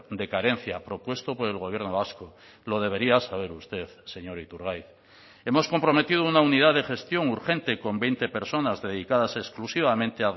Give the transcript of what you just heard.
de carencia propuesto por el gobierno vasco lo debería saber usted señor iturgaiz hemos comprometido una unidad de gestión urgente con veinte personas dedicadas exclusivamente